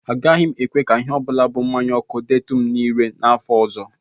Agaghị m ekwe ka ihe ọ bụla bụ mmanya ọkụ detụ m ire n'afọ ọzọ